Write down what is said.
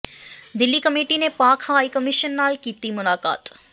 Delhi committee ਨੇ Pak high commission ਨਾਲ ਕੀਤੀ ਮੁਲਾਕਾਤ